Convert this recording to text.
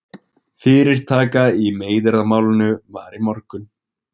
Fyrirtaka í meiðyrðamálinu var í morgun